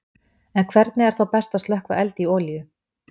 En hvernig er þá best að slökkva eld í olíu?